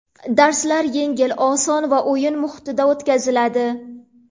Darslar yengil, oson va o‘yin muhitida o‘tkaziladi”.